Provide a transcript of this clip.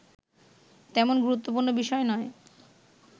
তেমন গুরুত্বপুর্ণ বিষয় নয়